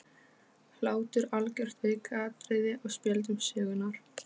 Hlátur algjört aukaatriði á spjöldum sögunnar.